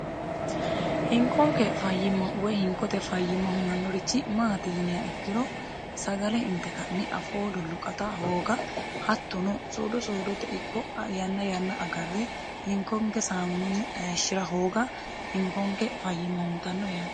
hinkonke fayyima woy hinkote fayyima hunannorichi maati yiniha ikkiro sagale inte ka'ne afoodolluqata hooga hattuno soodo soodote ikko yanna yanna agarre hinkonke saamunonni aeshshi'ra hooga hinkonke fayyima huntanno yaati